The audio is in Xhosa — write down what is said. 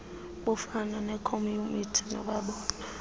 bufana neekhomyutha noomabona